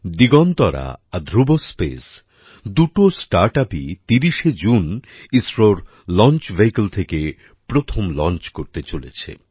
দিগন্তরা আর ধ্রুব স্পেস দুটো startupই ৩০শে জুন ইসরোর লঞ্চ ভেহিকল থেকে প্রথম লঞ্চ করতে চলেছে